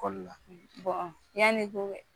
Koli la bɔn yann'i ko kɛ